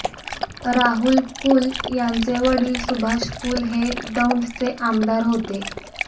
राहुल कुल यांचे वडील सुभाष कुल हे दौंडचे आमदार होते